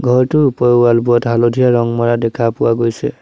ঘৰটোৰ ওপৰৰ ৱাল বোৰত হালধীয়া ৰং মাৰা দেখা পোৱা গৈছে।